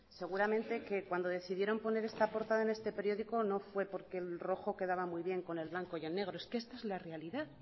seguramente que cuando decidieron poner esta portada en este periódico no fue porque el rojo quedaba muy bien con el blanco y el negro es que esta es la realidad